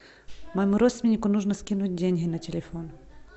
моему родственнику нужно скинуть деньги на телефон